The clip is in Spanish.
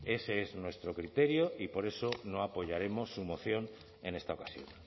ese es nuestro criterio y por eso no apoyaremos su moción en esta ocasión